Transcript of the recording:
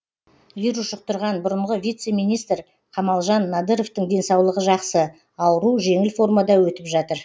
вирус жұқтырған бұрынғы вице министр қамалжан надыровтың денсаулығы жақсы ауру жеңіл формада өтіп жатыр